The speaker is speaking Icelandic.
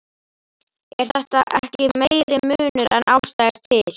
Er þetta ekki meiri munur en ástæða er til?